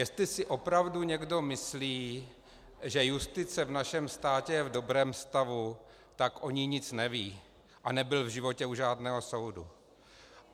Jestli si opravdu někdo myslí, že justice v našem státě je v dobrém stavu, tak o ní nic neví a nebyl v životě u žádného soudu.